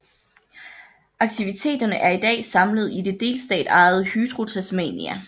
Aktiviteterne er i dag samlet i det delstatsejede Hydro Tasmania